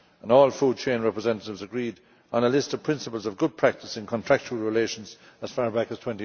All food chain representatives agreed on a list of principles of good practice in contractual relations as far back as